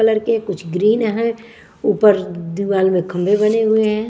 Colour के कुछ green है ऊपर दीवाल में खम्भे बने हुए हैं।